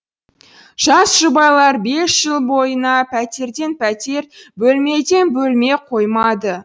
жас жұбайлар бес жыл бойына пәтерден пәтер бөлмеден бөлме қоймады